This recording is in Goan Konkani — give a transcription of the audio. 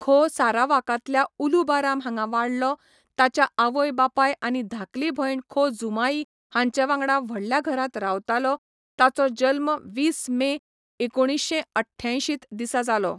खो सारावाकांतल्या उलू बाराम हांगा वाडलो, ताच्या आवय बापाय आनी धाकली भयण खो जुमाई हांचे वांगडा व्हडल्या घरांत रावतालो, ताचो जल्म वीस मे, एकुणशे अठ्ठ्यांयशींत दिसा जालो.